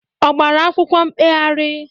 Ọ gbara akwụkwọ mkpegharị?